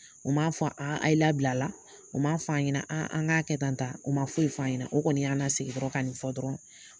O m'a fɔ a yi labila la, o ma fɔ an ɲɛna an k'a kɛ tan tan, o ma foyi f'an ɲɛna, o kɔni y'an lasigi ka nin fɔ dɔrɔn.